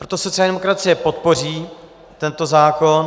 Proto sociální demokracie podpoří tento zákon.